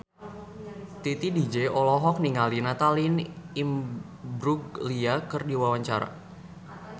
Titi DJ olohok ningali Natalie Imbruglia keur diwawancara